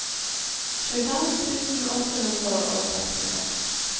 tjuefem tusen åtte hundre og sekstitre